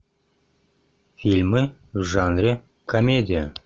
фильмы в жанре комедия